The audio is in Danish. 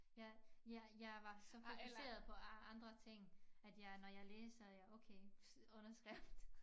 Ja jeg jeg var så fokuseret på andre ting at jeg når jeg læser jeg okay underskrift